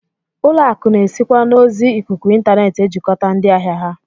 Ụlọakụ na-esikwa n'ozi ikuku intaneet ejikọta ndị ahịa ha